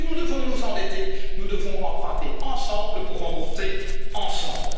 Et si nous devons nous endetter, nous devons emprunter ensemble pour rembourser